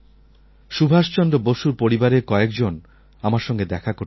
সুভাষ চন্দ্র বসুর পরিবারের কয়েকজন আমার সঙ্গে দেখা করতে এসেছিলেন